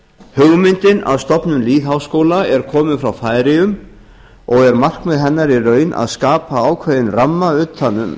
hugmyndin að stofnun lýðháskóla er komin frá færeyjum og er markmið hennar í raun að skapa ákveðinn ramma utan um